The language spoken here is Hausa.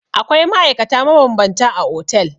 Akwai ma'aikata mabambanta a otel.